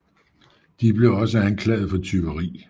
De blev også anklaget for tyveri